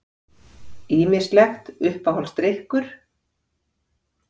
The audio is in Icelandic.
Ýmislegt Uppáhaldsdrykkur?